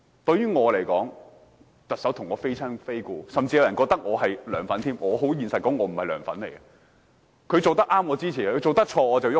對我來說，梁振英與我非親非故，甚至有人認為我是"梁粉"，我很坦白說我不是"梁粉"，他做得對，我支持，他做得錯，我便反對。